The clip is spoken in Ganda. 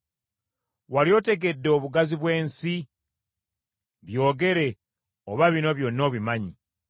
Wali otegedde obugazi bw’ensi? Byogere, oba bino byonna obimanyi.